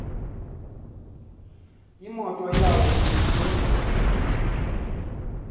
imoto yawo iphuma